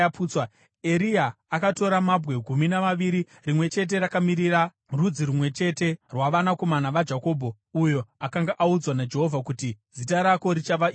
Eria akatora mabwe gumi namaviri, rimwe chete rakamirira rudzi rumwe chete rwavanakomana vaJakobho, uyo akanga audzwa naJehovha kuti, “Zita rako richava Israeri.”